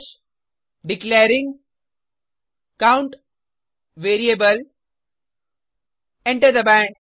हाश declaring count variable enter दबाएँ